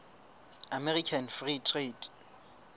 american free trade